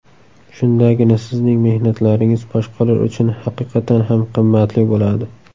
Shundagina sizning mehnatlaringiz boshqalar uchun haqiqatan ham qimmatli bo‘ladi.